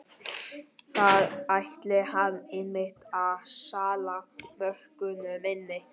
Þar ætlaði hann einmitt að salla mörkunum inn!